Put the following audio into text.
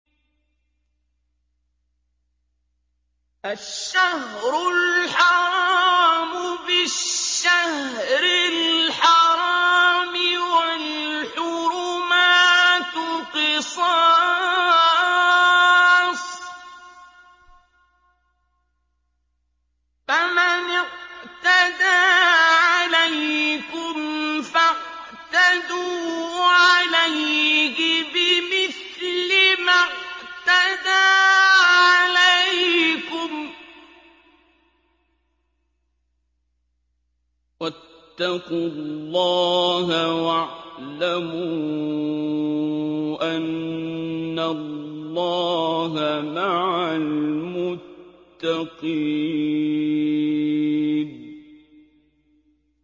الشَّهْرُ الْحَرَامُ بِالشَّهْرِ الْحَرَامِ وَالْحُرُمَاتُ قِصَاصٌ ۚ فَمَنِ اعْتَدَىٰ عَلَيْكُمْ فَاعْتَدُوا عَلَيْهِ بِمِثْلِ مَا اعْتَدَىٰ عَلَيْكُمْ ۚ وَاتَّقُوا اللَّهَ وَاعْلَمُوا أَنَّ اللَّهَ مَعَ الْمُتَّقِينَ